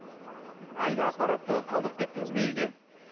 әлгі аппаратты қалдырып кеттіңіз бе үйге